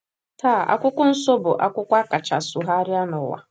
Taa, Akwụkwọ Nsọ bụ akwụkwọ a kacha sụgharịa n’ụwa.